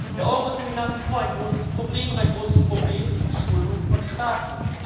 Der Euro ist nämlich nach wie vor ein großes Problem, und ein großes Problem ist die Verschuldung von Staaten.